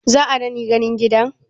Zaa dani ganin gidan?